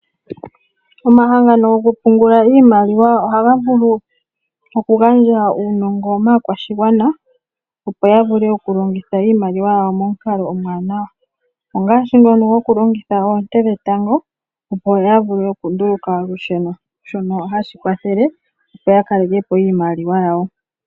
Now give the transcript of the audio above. Omahangano gokupungula iimaliwa ohaga vulu okugandja uunongo maakwashigwana opo ya vule okulongitha iimaliwa yawo momukalo omuwanawa ngaashi ngono gokulongitha oonte dhetango opo ya vule okunduluka olusheno shono hashi kwathele opo ya kalekepo iimaliwa yawo.